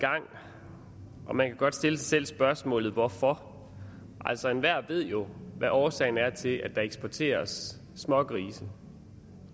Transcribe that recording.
gang og man kan godt stille sig selv spørgsmålet hvorfor altså enhver ved jo hvad årsagen er til at der eksporteres smågrise